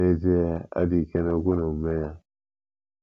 N'ezie, ọ dị ike na omume ya